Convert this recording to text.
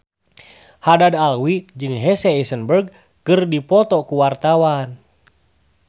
Haddad Alwi jeung Jesse Eisenberg keur dipoto ku wartawan